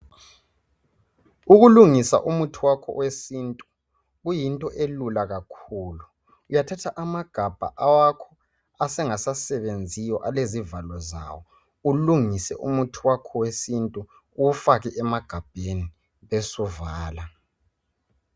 Ukulungisa umuthi wakho owesintu kuyinto elula kakhulu uyathatha amagabha awakho asengasasebenziyo alezivalo zawo ulungise umuthi wakho owesintu uwufake emagabheni besuvala.